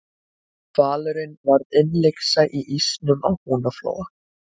hvalurinn varð innlyksa í ísnum á húnaflóa